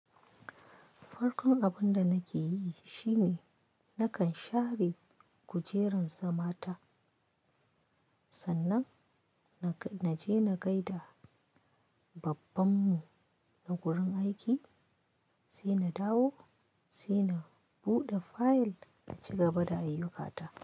Farkon abun da nake yi shine nakan share kujerun zamata. Sannan, na je na gaida babban mu na wurin aiki, sai na dawo sai na buɗe fayil a ci gaba da ayyukata.